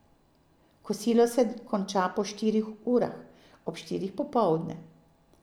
Kosilo se konča po štirih urah, ob štirih popoldne.